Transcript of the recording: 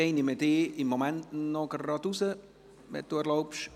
Hervé Gullotti, ich nehme Sie im Moment noch heraus, wenn Sie erlauben.